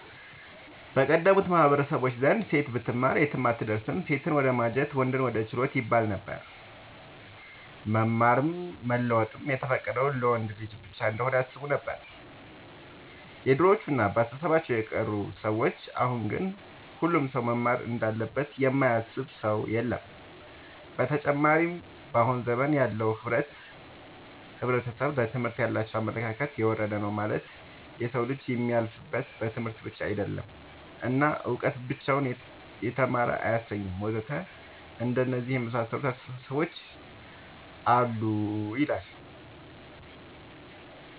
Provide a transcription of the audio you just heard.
በቀደሙት ማህበረሰቦች ዘንድ ሴት ብትማር የትም አትደርስም ሴትን ወደማጀት ወንድን ወደ ችሎት ይባለነበር። መማርም መለወጥም የተፈቀደው ለወንድ ልጅ ብቻ እንሆነ ያስቡነበር የድሮዎቹ እና በአስተሳሰባቸው የቀሩ ሰዎች አሁን ግን ሁሉም ሰው መማር እንዳለበት የማያስብ ሰው የለም። ብተጨማርም በአሁን ዘመን ያለው ሕብረተሰብ ለትምህርት ያላቸው አመለካከት የወረደ ነው ማለትም የሰው ልጅ የሚያልፍለት በትምህርት ብቻ አይደለም እና እውቀት ብቻውን የተማረ አያሰኝም ወዘተ አንደነዚህ የመሳሰሉት አስታሳሰቦች አሉ